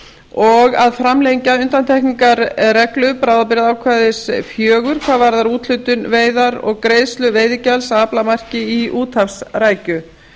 og að framlengja undantekningarreglu bráðabirgðaákvæðis fjögur hvað varðar úthlutun veiðar og greiðslu veiðigjalds af aflamarki í úthafsrækju